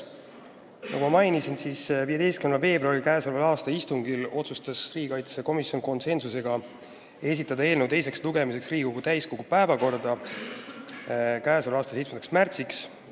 Nagu ma mainisin, k.a 15. veebruari istungil otsustas riigikaitsekomisjon esitada eelnõu teiseks lugemiseks Riigikogu täiskogu päevakorda k.a 7. märtsiks.